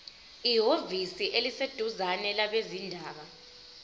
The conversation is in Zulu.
ehhovisi eliseduzane labezindaba